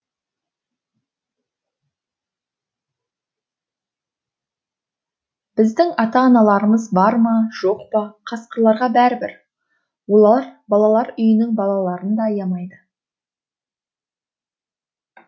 біздің ата аналарымыз бар ма жоқ па қасқырларға бәрібір олар балалар үйінің балаларын да аямайды